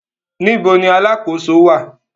Níbo ni alákòóso wà?